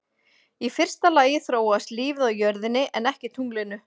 Í fyrsta lagi þróaðist lífið á jörðinni en ekki tunglinu.